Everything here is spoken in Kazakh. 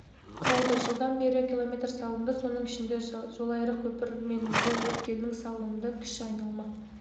құрайды жылдан бері км салынды соның ішінде жолайрық көпір мен жол өткелінің салынды кіші айналма